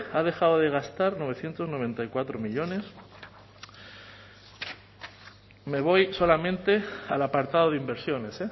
ha dejado de gastar novecientos noventa y cuatro millónes me voy solamente al apartado de inversiones